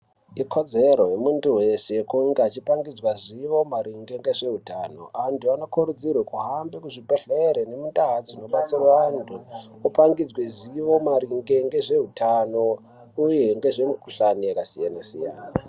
Ikodzero yemuntu wese kunge achipangidzwa zivo maringe ngezveutano. Antu anokurudzirwe kuhambe kuzvibhedhleri nemundaa dzinobatsirwa antu, opangidzwe zivo maringe ngezveutano uye ngezvemukuhlani yakasiyana-siyana.